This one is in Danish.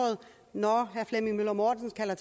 når herre flemming møller mortensen kalder